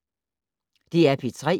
DR P3